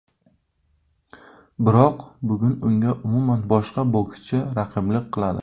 Biroq bugun unga umuman boshqa bokschi raqiblik qiladi.